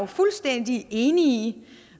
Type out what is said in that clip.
fuldstændig enig i